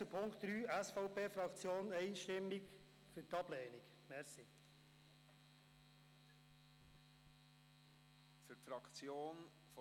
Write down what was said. Deshalb ist die SVP-Fraktion einstimmig für die Ablehnung von Punkt 3.